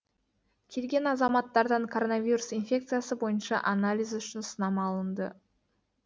келген азаматтардан коронавирус инфекциясы бойынша анализ үшін сынама алынды